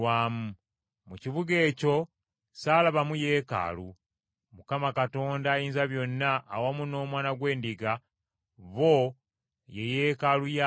Mu kibuga ekyo saalabamu yeekaalu, Mukama Katonda Ayinzabyonna awamu n’Omwana gw’Endiga, bo ye yeekaalu yaakyo.